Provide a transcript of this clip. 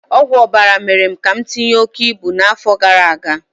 Ọgwụ ọbara mere ka m tinye oke ibu n'afọ gara aga